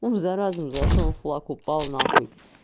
ум за разум зашёл флаг упал на хуй